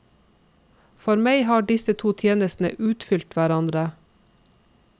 For meg har disse to tjenestene utfylt hverandre.